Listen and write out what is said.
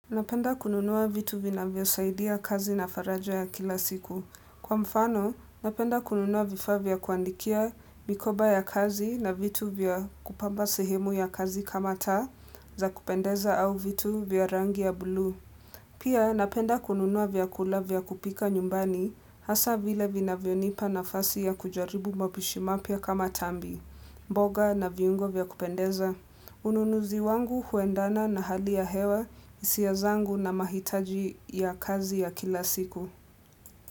Napenda kununua vitu vinavyosaidia kazi na faraja ya kila siku. Kwa mfano, napenda kununua vifaa vya kuandikia mikoba ya kazi na vitu vya kupamba sehemu ya kazi kama taa za kupendeza au vitu vya rangi ya bluu. Pia, napenda kununua vyakula vya kupika nyumbani hasa vile vinavyonipa nafasi ya kujaribu mapishi mapya kama tambi, mboga na viungo vya kupendeza. Ununuzi wangu huendana na hali ya hewa, hisia zangu na mahitaji ya kazi ya kila siku.